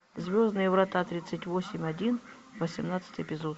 звездные врата тридцать восемь один восемнадцатый эпизод